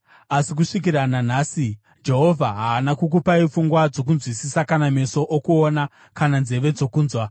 Asi kusvikira nanhasi Jehovha haana kukupai pfungwa dzokunzwisisa kana meso okuona kana nzeve dzokunzwa.